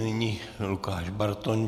Nyní Lukáš Bartoň.